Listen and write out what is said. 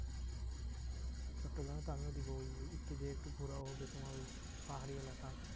চট্টগ্রামে তো আমিও দেব ওই একটু যেয়ে একটু ঘোড়াও হবে তোমার ওই পাহাড়ি এলাকা।